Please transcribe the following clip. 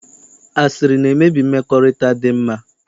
Asịrị na-emebi mmekọrịta dinma